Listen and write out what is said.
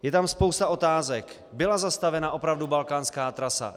Je tam spousta otázek: Byla zastavena opravdu balkánská trasa?